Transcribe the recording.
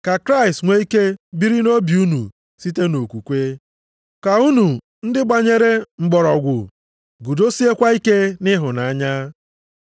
ka Kraịst nwee ike biri nʼobi unu site nʼokwukwe, ka unu ndị gbanyere mgbọrọgwụ guzosiekwa ike nʼịhụnanya.